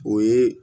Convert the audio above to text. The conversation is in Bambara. O ye